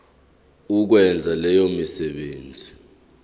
ukwenza leyo misebenzi